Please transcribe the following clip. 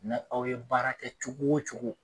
Ni aw ye baara kɛ cogo o cogo